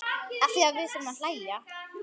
Afþvíað við þurfum að hlæja.